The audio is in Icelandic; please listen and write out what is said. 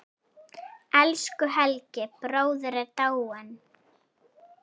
Elsku Helgi bróðir er dáinn.